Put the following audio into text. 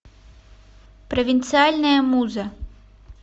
провинциальная муза